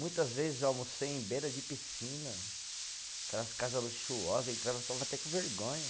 Muitas vezes almocei em beira de piscina, aquelas casas luxuosa, entrava, ficava até com vergonha.